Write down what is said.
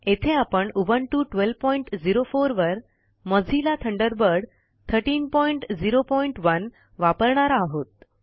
येथे आपण उबुंटू 1204 वर मोझिल्ला थंडरबर्ड 1301 वापरणार आहोत